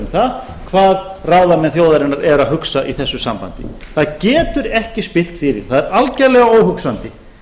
það hvað ráðamenn þjóðarinnar eru að hugsa í þessu sambandi það getur ekki spillt fyrir það er algjörlega óhugsandi